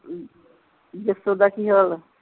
ਜੱਸੂ ਦਾ ਕੀ ਹਾਲ